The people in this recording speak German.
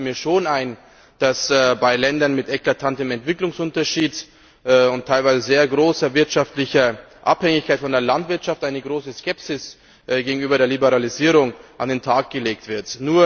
Es leuchtet mir schon ein, dass bei Ländern mit eklatantem Entwicklungsunterschied und teilweise sehr großer wirtschaftlicher Abhängigkeit von der Landwirtschaft eine große Skepsis gegenüber der Liberalisierung an den Tag gelegt wird.